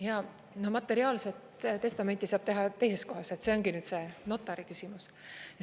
Jaa, no materiaalset testamenti saab teha teises kohas, see ongi nüüd see notariküsimus.